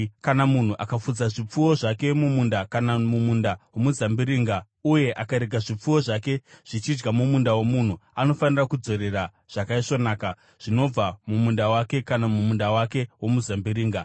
“Kana munhu akafudza zvipfuwo zvake mumunda kana mumunda womuzambiringa uye akarega zvipfuwo zvake zvichidya mumunda womunhu, anofanira kudzorera zvakaisvonaka zvinobva mumunda wake kana mumunda wake womuzambiringa.